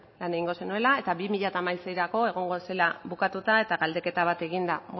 lan egingo zenuela eta bi mila hamaseirako egongo zela bukatuta eta galdeketa bat eginda